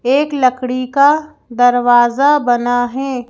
एक लकड़ी का दरवाजा बना है।